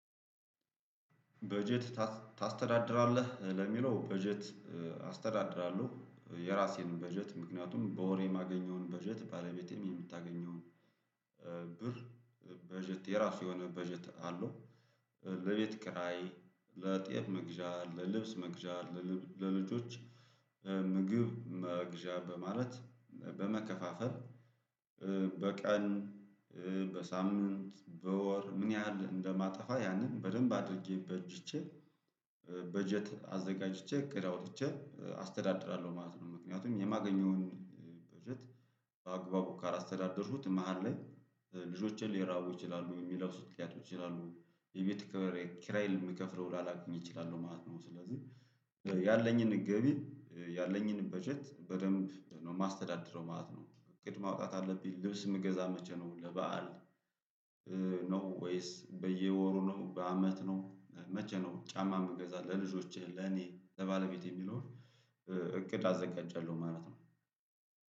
በጀት ታስተዳድራለህ ለሚለው በጀት አስተዳድራለሁ የራሴን በጀት ምክንያቱም በወር የማገኘውን በጀት ባለቤቴም የምታገኘውን ብር በጀት የራሱ የሆነ በጀት አለው ለቤት ክራይ፣ ለጤፍ መግዣ፣ ለልብስ መግዣ፣ ለልጆች ምግብ መግዣ በማለት በመከፋፈል በቀን፣ በሳምንት፣ በወር ምን ያህል እንደማጠፋ ያንን በደንብ አድርጌ በጅቼ በጀት አዘጋጅቼ እቅድ አውጥቼ አስተዳድራለሁ ማለት ነው ምክንያቱም የማገኘውን በጀት በአግባቡ ካላስተዳደሩት መሃል ላይ ልጆቼ ሊራቡ ይችላሉ የሚለብሱት ሊያጡ ይችላሉ የቤት ክብር ኪራይ ምከፍለው ላላገኝ እችላለሁ ማለት ነው ስለዚህ ያለኝን ገቢ ያለኝን በጀት በደንብ ነው ማስተዳድረው ማለት ነው እቅድ ማውጣት አለብኝ ልብስ ምገዛ መቼ ነው ለበአል ነው ወይስ በየወሩ ነው በአመት ነው መቼ ነው ጫማ ምገዛ ለልጆቼ፣ ለኔ፣ ለባለቤቴ የሚለውን እቅድ አዘጋጃለሁ ማለት ነው።